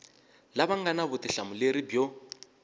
lava nga na vutihlamuleri byo